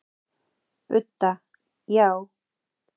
Budda: Já.